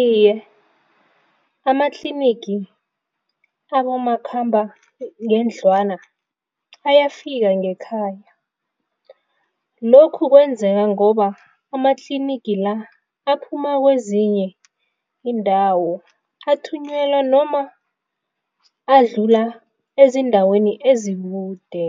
Iye, amatlinigi abomakhambangendlwana ayafika ngekhaya. Lokhu kwenzeka ngoba amatlinigi la aphuma kwezinye iindawo, athunyelwa noma adlula ezindaweni ezikude